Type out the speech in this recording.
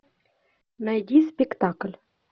найди спектакль